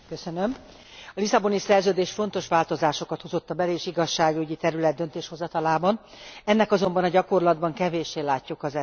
A Lisszaboni Szerződés fontos változásokat hozott a bel és igazságügyi terület döntéshozatalában, ennek azonban a gyakorlatban kevéssé látjuk az eredményét.